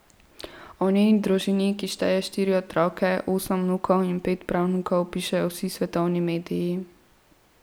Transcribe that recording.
O njeni družini, ki šteje štiri otroke, osem vnukov in pet pravnukov, pišejo vsi svetovni mediji.